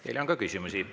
Teile on ka küsimusi.